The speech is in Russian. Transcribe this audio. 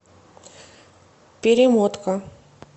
перемотка